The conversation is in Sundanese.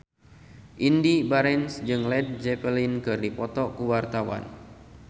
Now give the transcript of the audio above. Indy Barens jeung Led Zeppelin keur dipoto ku wartawan